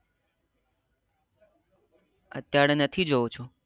અત્યારે નથી જો છો